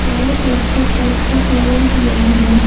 चारो तरफ से करकट लगा हुआ है।